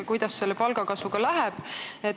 Kuidas selle palgakasvuga on?